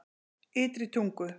Ytri Tungu